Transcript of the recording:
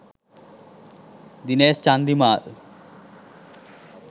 dinesh chandimal